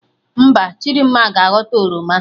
Mba, Chidimma ga aghọta oroma